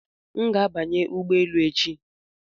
M ga-abanye ụgbọ elu echi